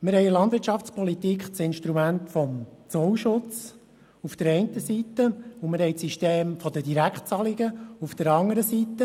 Wir haben in der Landwirtschaftspolitik das Instrument des Zollschutzes auf der einen Seite, und wir haben das System der Direktzahlungen auf der anderen Seite.